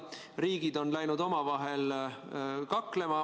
Riigid on läinud omavahel kaklema.